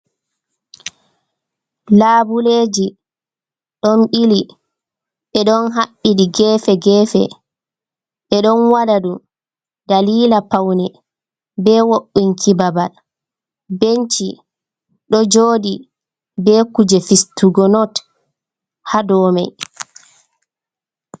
Labuleji ɗon ɓili, ɓe ɗon haɓɓiɗi gefe-gefe, ɓe ɗon waɗa dou dalila paune be wo'inki babal. Benci ɗo joɗi be kuje fistugo not ha dou mai.